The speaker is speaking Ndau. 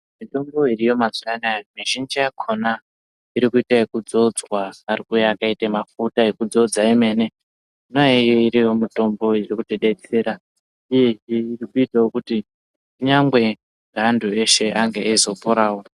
Mitombo iriyo mazuwa anaya mizhinji yakhona ,iri kuite ekudzodza. Ari kuuya akaite mafuta ekudzodzwa emene. Yona iyoyo iri mitombo iri kutidetsera, uyezve iri kuitawo kuti kunyangwe neanthu eshe ange eizoporawo.